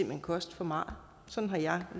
hen koste for meget sådan har jeg